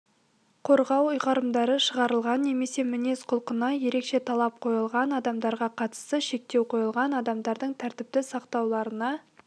қорғау ұйғарымдары шығарылған немесе мінез-құлқына ерекше талап қойылған адамдарға қатысты шектеу қойылған адамдардың тәртіпті сақтауларына